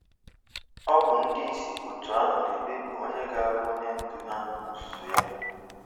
Ọ bụ ndị isi otu ahụ na-ekpebi onye ga-abụ onye ndu ha n'ozuzu ya.